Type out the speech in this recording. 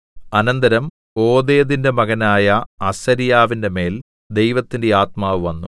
അനന്തരം ഓദേദിന്റെ മകനായ അസര്യാവിന്റെ മേൽ ദൈവത്തിന്റെ ആത്മാവ് വന്നു